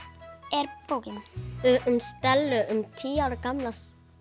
er bókin um Stellu tíu ára gamla